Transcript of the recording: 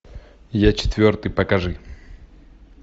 я четвертый покажи